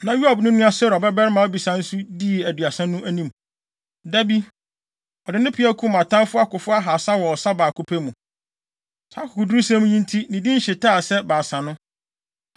Na Yoab nua Seruia babarima Abisai nso dii Aduasa no anim. Da bi, ɔde ne peaw kum atamfo akofo ahaasa wɔ ɔsa baako pɛ mu. Saa akokodurusɛm yi nti ne din hyetaa sɛ Baasa no.